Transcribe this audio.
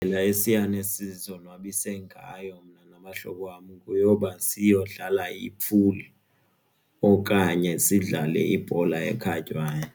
Indlela esiyane sizonwabise ngayo mna nabahlobo wam yeyoba siyodlala ipuli okanye sidlale ibhola ekhatywayo.